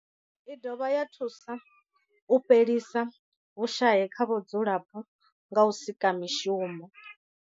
I dovha ya thusa u fhelisa vhushayi kha vhadzulapo nga u sika mishumo.